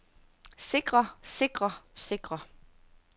sikrer sikrer sikrer